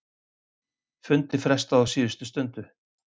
Fundi frestað á síðustu stundu